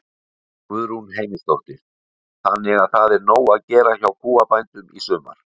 Guðrún Heimisdóttir: Þannig að það er nóg að gera hjá kúabændum í sumar?